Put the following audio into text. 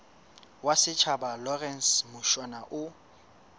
wa setjhaba lawrence mushwana o